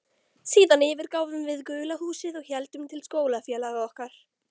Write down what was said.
Síðan yfirgáfum við gula húsið og héldum til skólafélaga okkar.